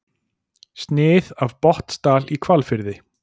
Snið af Botnsdal í Hvalfirði.